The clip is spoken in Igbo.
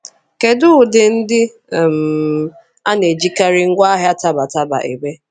Kedu ụdị ndị um a na-ejikarị ngwaahịa taba taba eme?